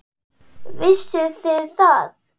Vissuð þið það?